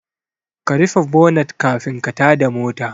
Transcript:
Ka rufe bonat kafin ka tada mota